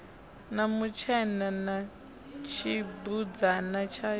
na mutshena na tshibudzana tshayo